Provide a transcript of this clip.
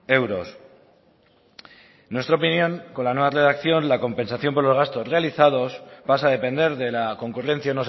euros en nuestra opinión con la nueva redacción la compensación por los gastos realizados pasa a depender de la concurrencia